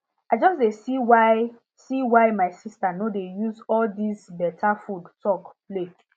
i just dey see why see why my sister no dey use all this better food talk play